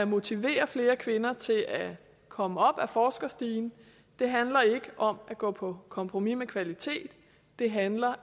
motivere flere kvinder til at komme op ad forskerstigen det handler ikke om at gå på kompromis med kvaliteten det handler